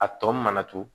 A tɔ mana to